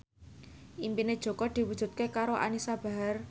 impine Jaka diwujudke karo Anisa Bahar